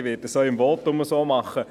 Ich werde es auch im Votum so machen.